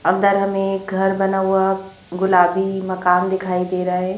अंदर हमें एक घर बना हुआ गुलाबी मकान दिखाई दे रहा है।